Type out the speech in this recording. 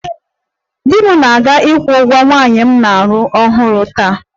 Di m na-aga ịkwụ ụgwọ nwanyị m na-alụ ọhụrụ taa